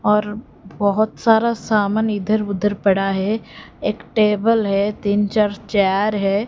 और बहुत सारा सामान इधर उधर पड़ा है एक टेबल है तीन चार चेयर है।